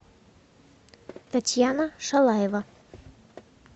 татьяна шалаева